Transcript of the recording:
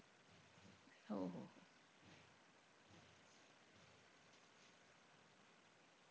हो-हो.